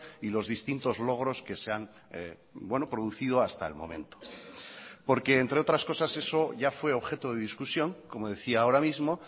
y los distintos logros que se han producido hasta el momento porque entre otras cosas eso ya fue objeto de discusión como decía ahora mismo